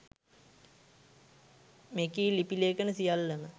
මෙකී ලිපි ලේඛන සියල්ලම